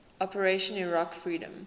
operation iraqi freedom